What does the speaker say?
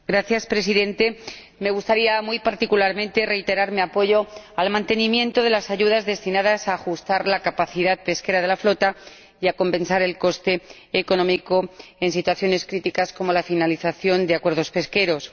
Señor Presidente, me gustaría, muy particularmente, reiterar mi apoyo al mantenimiento de las ayudas destinadas a ajustar la capacidad pesquera de la flota y a compensar el coste económico en situaciones críticas, como la finalización de acuerdos pesqueros.